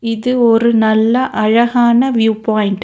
இது ஒரு நல்ல அழகான வியூ பாய்ண்ட் .